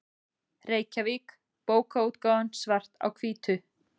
Reykjavík: Bókaútgáfan Svart á hvítu.